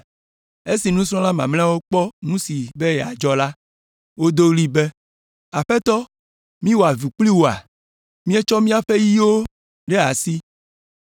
Esi nusrɔ̃la mamlɛawo kpɔ nu si be yeadzɔ la, wodo ɣli be, “Aƒetɔ, míwɔ avu kpli woa? Míetsɔ míaƒe yiawo ɖe asi!”